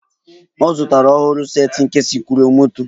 Ọ zụtara a ọhụrụ set nke sikruokwomoto